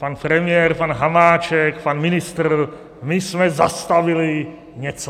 Pan premiér, pan Hamáček, pan ministr - my jsme zastavili něco.